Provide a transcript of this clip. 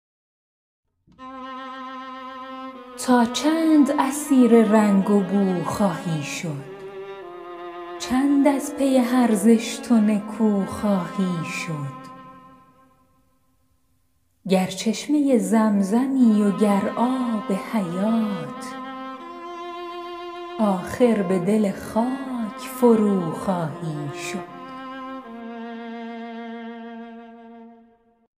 تا چند اسیر رنگ و بو خواهی شد چند از پی هر زشت و نکو خواهی شد گر چشمه زمزمی و گر آب حیات آخر به دل خاک فروخواهی شد